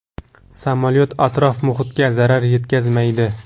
Samolyot atrof-muhitga zarar yetkazmaydi.